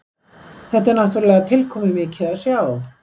Þetta er náttúrulega tilkomumikið að sjá